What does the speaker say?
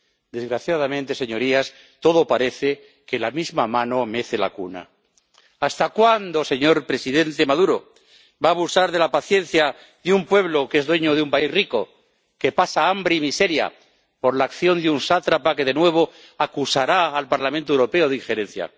Desgraciadamente, señorías, todo parece que la misma mano mece la cuna. ¿Hasta cuándo, señor presidente Maduro, va abusar de la paciencia de un pueblo que es dueño de un país rico, que pasa hambre y miseria por la acción de un sátrapa que de nuevo acusará al Parlamento Europeo de injerencia?